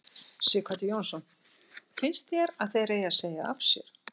Sighvatur Jónsson: Finnst þér að þeir eigi að segja af sér?